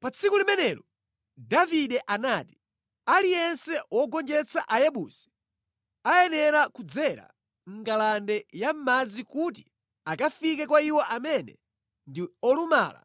Pa tsiku limenelo Davide anati, “Aliyense wogonjetsa Ayebusi ayenera kudzera mʼngalande ya madzi kuti akafike kwa iwo amene ndi ‘olumala